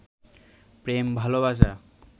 প্রেম ভালবাসা